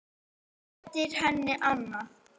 Réttir henni annað.